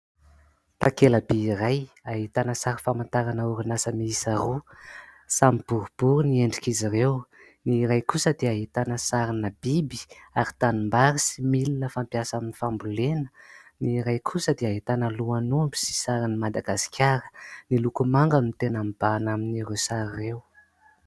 Takela-by iray ahitana sary famantarana orinasa miisa roa, samy boribory ny endrik'izy ireo. Ny iray kosa dia ahitana sarina biby ary tanimbary, sy milina fampiasa amin'ny fambolena. Ny iray kosa dia ahitana lohan'omby sy sarin'i Madagasikara. Ny loko manga no tena mibahana amin'ny ireo sary ireo.